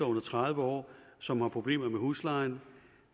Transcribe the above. under tredive år som har problemer med huslejen